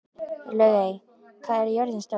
Laugey, hvað er jörðin stór?